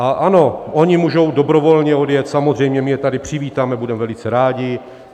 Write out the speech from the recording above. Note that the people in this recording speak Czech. A ano, oni můžou dobrovolně odjet, samozřejmě, my je tady přivítáme, budeme velice rádi.